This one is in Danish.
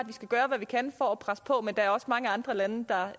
vi skal gøre hvad vi kan for at presse på men der er også mange andre lande der